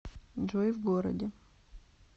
джой в городе